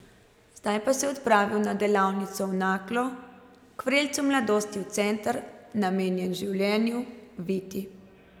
Zdaj pa se odpravil na delavnico v Naklo, k vrelcu mladosti v center, namenjen življenju, Viti.